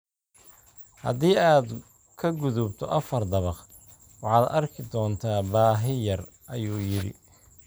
Haddii aad ka gudubto afar dabaq, waxaad arki doontaa baahi yar, ayuu yidhi.